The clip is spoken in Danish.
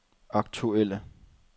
aktuelle